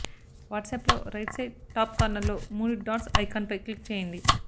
what's up లో right side top corner లో మూడు డాట్స్ ఐకాన్ పై క్లిక్ చేయండి